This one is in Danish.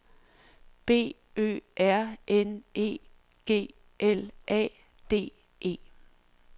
B Ø R N E G L A D E